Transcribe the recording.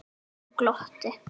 Hann glotti.